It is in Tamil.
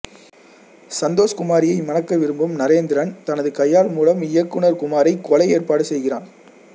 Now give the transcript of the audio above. சந்தோஷ்குமாரியை மணக்க விரும்பும் நரேந்திரன் தனது கையாள் மூலம் இயக்குனர் குமாரைக் கொல்ல ஏற்பாடு செய்கிறான்